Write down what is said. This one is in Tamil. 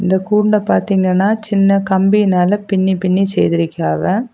இந்தக் கூண்ட பாத்தீங்கன்னா சின்ன கம்பியினால பின்னி பின்னி செய்திருக்கியாவ.